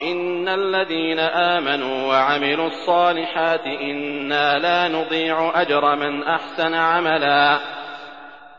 إِنَّ الَّذِينَ آمَنُوا وَعَمِلُوا الصَّالِحَاتِ إِنَّا لَا نُضِيعُ أَجْرَ مَنْ أَحْسَنَ عَمَلًا